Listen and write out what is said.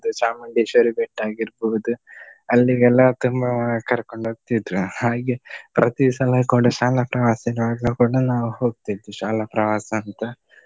ಚಾಮುಂಡೇಶ್ವರಿ ಬೆಟ್ಟ ಆಗಿರ್ಬಹುದು. ಅಲ್ಲಿಗೆಲ್ಲ ತುಂಬಾ ಕರ್ಕೊಂಡು ಹೋಗ್ತಿದ್ರು ಹಾಗೆ ಪ್ರತಿ ಸಲ ಕೂಡ ಶಾಲಾ ಪ್ರವಾಸ ಇರುವಾಗ ಕೂಡ ನಾವು ಹೊಗ್ತಿದ್ವು ಶಾಲಾ ಪ್ರವಾಸ ಅಂತ.